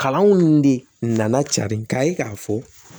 Kalanw de nana cari k'a ye k'a fɔ